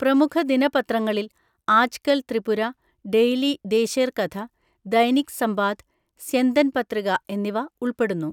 പ്രമുഖദിനപത്രങ്ങളിൽ, Aajkal Tripura, daily Desher Katha, Dainik Sambad, Syandan Patrika എന്നിവ ഉൾപ്പെടുന്നു.